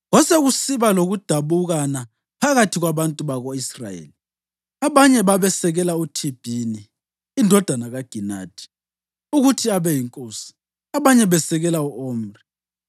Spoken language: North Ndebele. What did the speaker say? Kwasekusiba lokudabukana phakathi kwabantu bako-Israyeli, abanye babesekela uThibhini indodana kaGinathi ukuthi abe yinkosi, abanye besekela u-Omri.